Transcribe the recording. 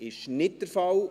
– Das ist nicht der Fall.